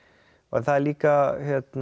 en það er líka